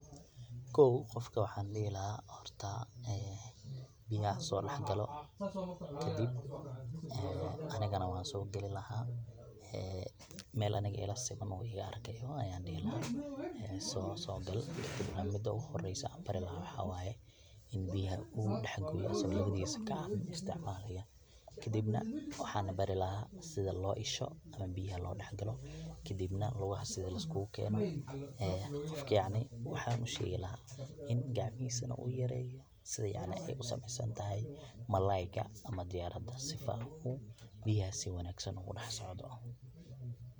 Kow qofka waxaan dihi lahaa horta biyaha hasoo dax galo, kadib anigana waan soo gali lahaa meel aniga ila siman uu iga arkaayo ayaan dihi lahaa soo gal. Mida ugu horeysa aan bari lahaa waxaa waaye in biyaha uu dax gooyo asago lawadiisa gacan isticmaalaaya kadibna waxaana bari lahaa sidi loo isho ama biyaha loo dax galo kadibna lugaha sidi laiskugu keeno qofka yacni waxaan usheegilahaa in gacmihisana uyareeyo sidi ay usameysantahay malayga ama diyaarada sifaan u biyaha si wanaagsan ugu dax socdo.